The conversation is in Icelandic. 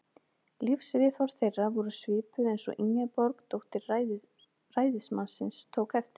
Lífsviðhorf þeirra voru svipuð, eins og Ingeborg, dóttir ræðismannsins, tók eftir.